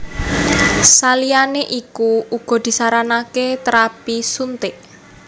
Saliyané iku uga disaranaké térapi suntik